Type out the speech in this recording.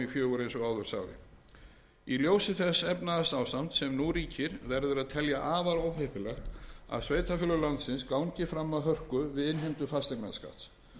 fjögur í ljósi þess efnahagsástands sem nú ríkir verður að telja afar óheppilegt að sveitarfélög landsins gangi fram af hörku við innheimtu fasteignaskatts